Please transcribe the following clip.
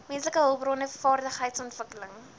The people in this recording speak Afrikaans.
menslike hulpbronne vaardigheidsontwikkeling